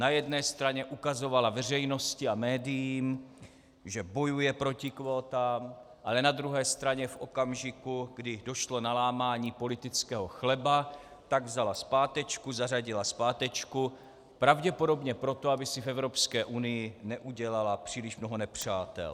Na jedné straně ukazovala veřejnosti a médiím, že bojuje proti kvótám, ale na druhé straně v okamžiku, kdy došlo na lámání politického chleba, tak vzala zpátečku, zařadila zpátečku, pravděpodobně proto, aby si v Evropské unii neudělala příliš mnoho nepřátel.